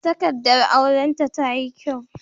Takaddar auran ta tayi kyau